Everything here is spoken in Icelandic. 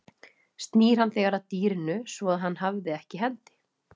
Snýr hann þegar að dýrinu svo að hann hafði ekki í hendi.